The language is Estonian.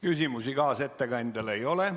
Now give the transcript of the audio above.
Küsimusi kaasettekandjale ei ole.